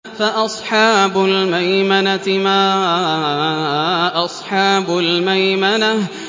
فَأَصْحَابُ الْمَيْمَنَةِ مَا أَصْحَابُ الْمَيْمَنَةِ